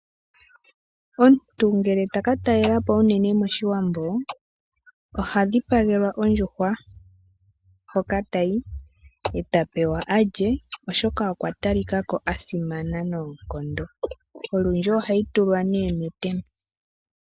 Omuntu ngele taka talelapo unene moshiwambo oha dhipagelwa ondjuhwa hoka tayi eta pewa alye oshoka okwa talikako asimana noonkondo, olundji ohayi tulwa metemba.